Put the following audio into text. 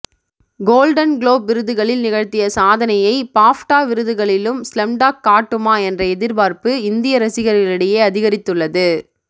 golden globe விருதுகளில் நிகழ்த்திய சாதனையை பாஃப்டா விருதுகளிலும் ஸ்லம்டாக் காட்டுமா என்ற எதிர்பார்ப்பு இந்திய ரசிகர்களிடையே அதிகரித்துள்ளது